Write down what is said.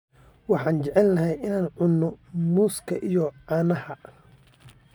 Waxaan jecelnahay inaan cunno muuska iyo caanaha.